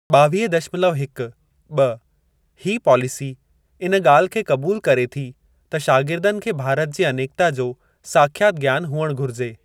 ॿावीह दशमलव हिक ॿ हीअ पॉलिसी इन ॻाल्हि खे क़बूल करे थी त शागिर्दनि खे भारत जी अनेकता जो साख्यात ज्ञान हुअणु घुरिजे।